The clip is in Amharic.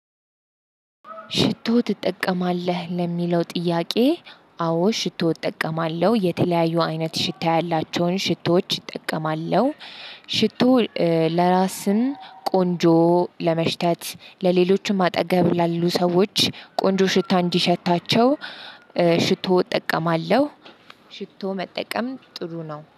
ሽቶ ትጠቀማለህ ለሚለው ጥያቄ? አዎ ሽቶ እጠቀማለሁ የተለያዩ አይነት ሽታ ያላቸውን ሽቶዎች እጠቀማለሁ። ሽቶ ለራስም ቆንጆ ለመሽተት ለሌሎችም አጠገብ ላሉ ሰዎች ቆንጆ ሽታ እንዲሸታቸው ሽቶ እጠቀማለሁ። ሽቶ መጠቀም ጥሩ ነው